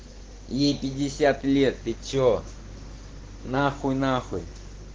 ей пятьдесят лет ты что нахуй нахуй